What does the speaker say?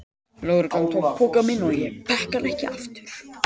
Lögreglan tók pokann minn og ég fékk hann ekki aftur.